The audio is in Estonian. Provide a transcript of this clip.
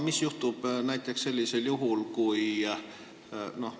Ma jätkan seda küsimust.